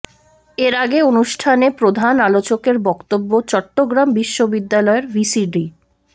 এরআগে অনুষ্ঠানে প্রধান আলোচকের বক্তব্যে চট্টগ্রাম বিশ্ববিদ্যালয়ের ভিসি ড